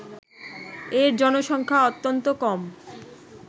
এর জনসংখ্যা অত্যন্ত কম